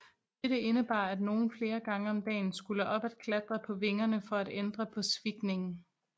Dette indebar at nogen flere gange om dagen skulle op at klatre på vingerne for at ændre på svikningen